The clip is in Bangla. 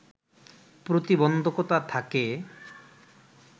প্রতিবন্ধকতা থাকে